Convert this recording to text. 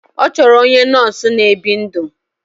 Ọ chọrọ onye nọọsụ na-ebi ndụ.